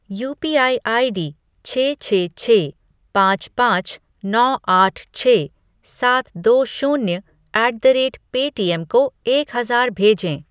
UPI ID छः छः छः पाँच पाँच नौ आठ छः सात दो शून्य ऐट द रेट पेटीएम को एक हजार भेजें ।